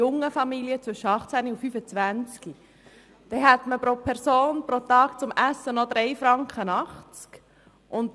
Junge Familien mit Eltern zwischen 18 und 25 Jahren hätten pro Person und Tag noch 3,80 Franken für das Essen zur Verfügung.